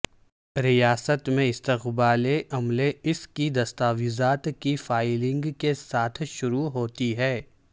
ریاست میں استقبالیہ عملہ اس کی دستاویزات کی فائلنگ کے ساتھ شروع ہوتی ہے